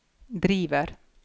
driver